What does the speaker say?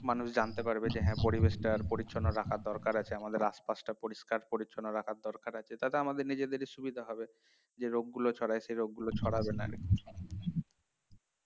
মানুষ জানতে পারবে যে হ্যা পরিবেশটা আরো পরিচ্ছন্ন রাখা দরকার আছে আমাদের আশপাশটা পরিষ্কার পরিচ্ছন্ন রাখার দরকার আছে তাতে আমাদের নিজেদেরই সুবিধা হবে যে রোগগুলো ছড়ায় সে রোগগুলো ছড়াবে না